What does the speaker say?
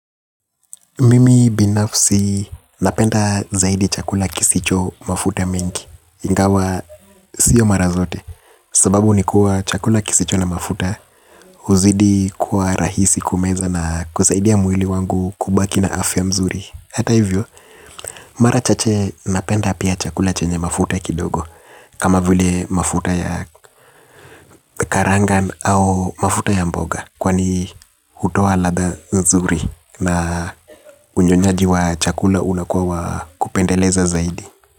Mimi, binafsi, napenda zaidi chakula kisicho mafuta mengi. Ingawa sio mara zote. Sababu ni kuwa, chakula kisicho na mafuta, uzidi kuwa rahisi kumeza na kusaidia mwili wangu kubaki na afya mzuri. Hata hivyo, mara chache napenda pia, chakula chenye mafuta kidogo. Kama vile mafuta ya karangan au mafuta ya mboga. Kwani hutoa ladha nzuri na unyonyaji wa chakula unakua wakupendeleza zaidi.